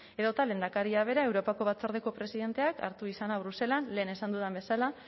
edota lehendakaria bera europako batzordeko presidenteak hartu izana bruselan lehen esan dudan bezala